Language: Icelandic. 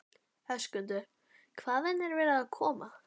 Höskuldur: Hvaðan er verið að koma?